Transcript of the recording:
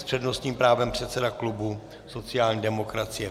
S přednostním právem předseda klubu sociální demokracie.